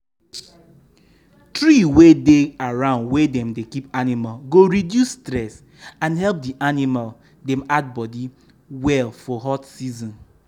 tree wey dey around where dem dey keep animal go reduce stress and help di animal dem add body well for hot season.